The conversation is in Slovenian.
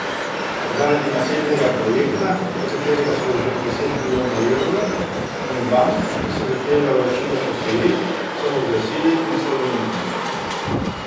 Zaradi nasedlega projekta, v katerega so vložili deset milijonov evrov, in bank, ki so zahtevale vračilo posojil, so razglasili insolventnost.